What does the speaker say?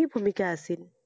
কি ভূমিকা আছিল?